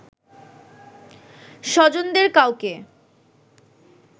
স্বজনদের কাউকে